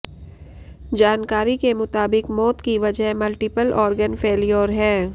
जानकारी के मुताबिक मौत की वजह मल्टीपल ऑर्गन फैल्योर है